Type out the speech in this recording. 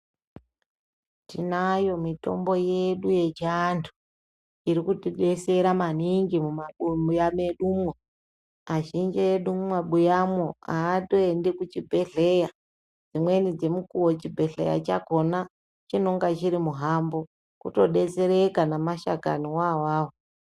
Tinayo mitombo yedu yechiantu, irikutibesera maningi mumabuya mwedumo. Azhinji edu mumabuyamwo atoendi kuchibhehleya. Dzimweni dzemukuwo chibhehleya chakhona chinonga chiri muhambo. Kutodesereka nemashakaniwo awawo.